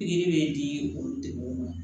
Pikiri bɛ di olu ma